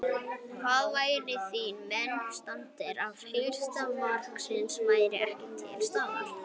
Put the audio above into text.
Hvar væru þínir menn staddir ef helsti markaskorarinn væri ekki til staðar?